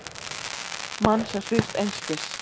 Mann sem svífst einskis.